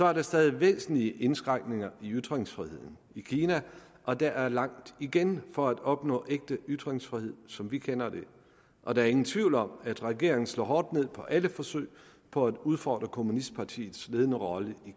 er der stadig væsentlige indskrænkninger i ytringsfriheden i kina og der er langt igen for at opnå ægte ytringsfrihed som vi kender det og der er ingen tvivl om at regeringen slår hårdt ned på alle forsøg på at udfordre kommunistpartiets ledende rolle i